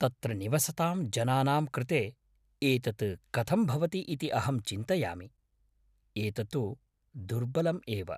तत्र निवसतां जनानां कृते एतत् कथं भवति इति अहं चिन्तयामि, एततु दुर्बलम् एव!